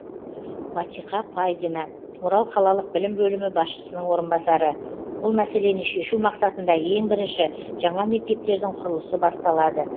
батиқа пайдина орал қалалық білім бөлімі басшысының орынбасары бұл мәселені шешу мақсатында ең бірінші жаңа мектептердің құрылысы басталады